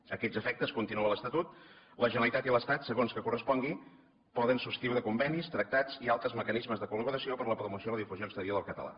a aquests efectes continua l’estatut la generalitat i l’estat segons que correspongui poden subscriure convenis tractats i altres mecanismes de col·laboració per a la promoció i la difusió exterior del català